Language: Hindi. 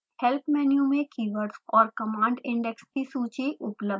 help menu में keywords और command index की सूची उपलब्ध है